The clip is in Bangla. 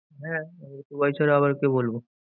হ্যাঁ, টুবাই ছাড়া আবার কে বলবো?